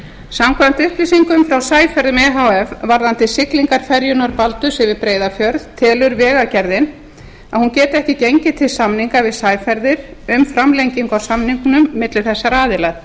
samkvæmt upplýsingum frá sæferðum e h f varðandi siglingar ferjunnar baldurs yfir breiðafjörð telur vegagerðin að hún geti ekki gengið til samninga við sæferðir um framlengingu á samningnum milli þessara aðila